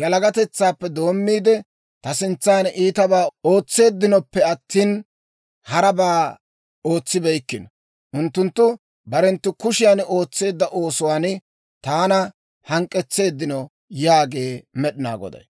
yalagatetsaappe doommiide, ta sintsan iitabaa ootseeddinoppe attina, harabaa ootsibeykkino; unttunttu barenttu kushiyan ootseedda oosuwaan taana hank'k'etseeddino yaagee Med'inaa Goday.